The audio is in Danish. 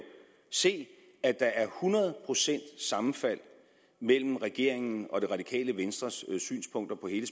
se at der er hundrede procents sammenfald mellem regeringens og det radikale venstres synspunkter på hele